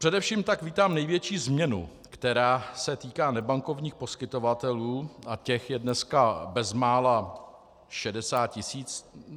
Především tak vítám největší změnu, která se týká nebankovních poskytovatelů, a těch je dneska bezmála 60 tisíc.